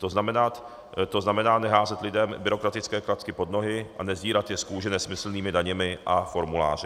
To znamená neházet lidem byrokratické klacky pod nohy a nesdírat je z kůže nesmyslnými daněmi a formuláři.